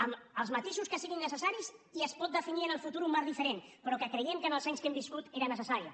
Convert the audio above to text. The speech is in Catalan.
amb els matisos que siguin necessaris i es pot definir en el futur un marc diferent però creiem que en els anys que hem viscut era necessària